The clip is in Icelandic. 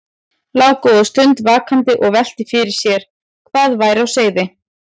Lá góða stund vakandi og velti fyrir mér hvað væri á seyði.